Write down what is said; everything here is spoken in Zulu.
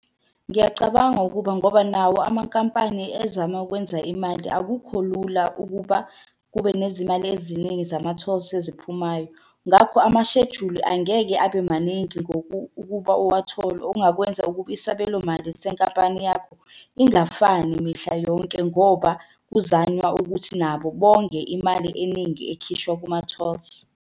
Ngiyacabanga ukuba ngoba nawo amankampani ezama ukwenza imali akukho lula ukuba kube nezimali eziningi zama-tolls eziphumayo. Ngakho amashejuli angeke abe maningi ukuba uwathole, ongakwenza ukuba isabelo mali senkampani yakho ingafani mihla yonke ngoba kuzanywa ukuthi nabo bonge imali eningi ekhishwa kuma-tolls.